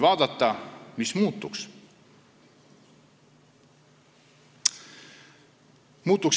Vaatame, mis juhul olukord muutuks.